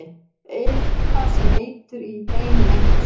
Eitthvað er sem eitur í beinum einhvers